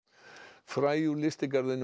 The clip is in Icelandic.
fræ úr lystigarðinum á